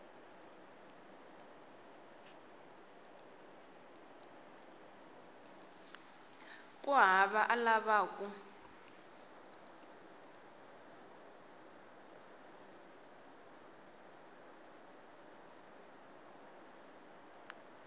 hikuva a a lava ku